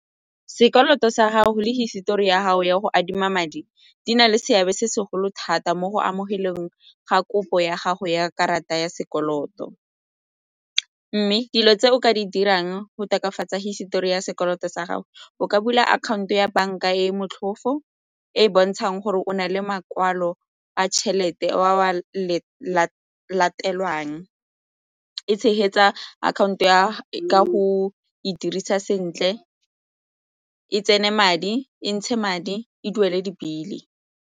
Sekoloto sa gago le hisetori ya gago ya go adima madi di na le seabe se segolo thata mo go amogeleng ga kopo ya gago ya karata ya sekoloto mme dilo tse o ka di dirang go tokafatsa hisetori ya sekoloto sa gago, o ka bula akhaonto ya banka e e motlhofo e e bontshang gore o na le makwalo a tšhelete ao a latelwang, e tshegetsa akhaonto ya ka go e dirisa sentle, e tsene madi, e ntshe madi, e duele di-bill-e.